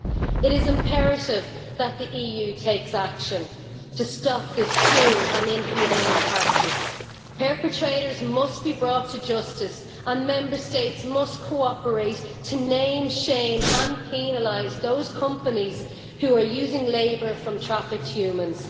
It is imperative that the EU take action to stop this cruel and inhumane practice. Perpetrators must be brought to justice and Member States must cooperate to name, shame and penalise those companies which are using labour from trafficked humans.